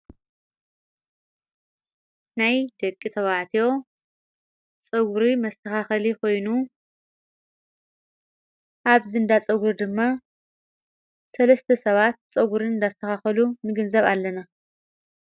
ናይ ደቂ ተባዕትዮ ጸጕሪ መስተኻኸሊ ኾይኑኣብዝንዳ ጸጕር ድማ ሠለስቲ ሰባት ጸጕር እንዳስተኻኸሉ ንግንዘብ ኣለና::